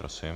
Prosím.